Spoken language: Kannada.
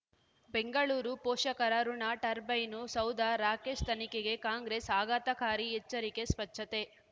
ಬೆಂಗಳೂರು ಪೋಷಕರಋಣ ಟರ್ಬೈನು ಸೌಧ ರಾಕೇಶ್ ತನಿಖೆಗೆ ಕಾಂಗ್ರೆಸ್ ಆಘಾತಕಾರಿ ಎಚ್ಚರಿಕೆ ಸ್ವಚ್ಛತೆ